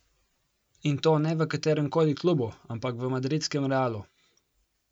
In to ne v katerem koli klubu, ampak v madridskem Realu!